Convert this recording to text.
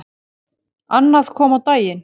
Annað kom á daginn.